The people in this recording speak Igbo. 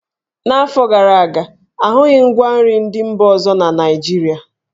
N'afọ gara aga, a hụghị ngwa nri ndị mba ọzọ na Naịjirịa.